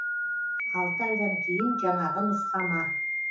алты айдан кейін жаңағы нұсқама